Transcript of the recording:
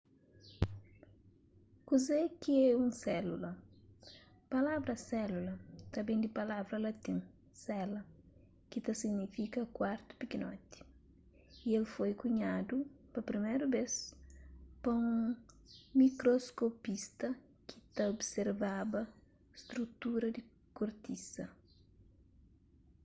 kuze ki é un sélula palavra sélula ta ben di palavra latin cella ki ta signifika kuartu pikinoti y el foi kunhadu pa priméru bês pa un mikroskopista ki ta observaba strutura di kortisa